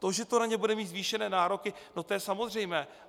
To, že to na ně bude mít zvýšené nároky, to je samozřejmé.